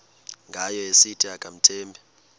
ngayo esithi akamthembi